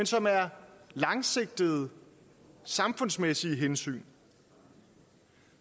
som er langsigtede samfundsmæssige hensyn